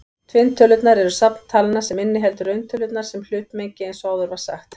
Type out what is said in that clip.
Tvinntölurnar eru safn talna sem inniheldur rauntölurnar sem hlutmengi eins og áður var sagt.